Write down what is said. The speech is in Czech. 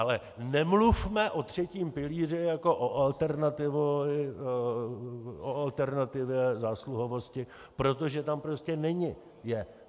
Ale nemluvme o třetím pilíři jako o alternativě zásluhovosti, protože tam prostě není.